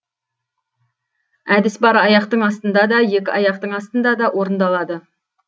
әдіс бір аяқтың астына да екі аяқтың астына да орындалады